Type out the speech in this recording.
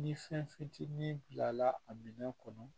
Ni fɛn fitinin bilala a minɛn kɔnɔ